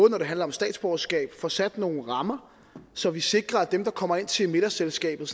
det handler om statsborgerskab får sat nogle rammer så vi sikrer at dem der kommer ind til middagsselskabet